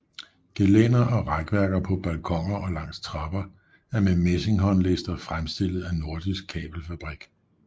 Gelænder og rækværker på balkoner og langs trapper er med messing håndlister fremstillet af Nordisk Kabelfabrik